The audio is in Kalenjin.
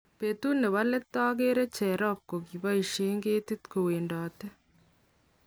betut nebo let ageere jerop ko kiboisien ketik kowendoti